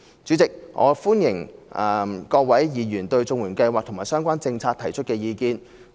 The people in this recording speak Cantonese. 主席，我歡迎各位議員對綜援計劃及相關政策提出意見。